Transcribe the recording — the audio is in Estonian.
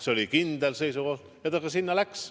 See oli kindel seisukoht ja ta sinna ka läks.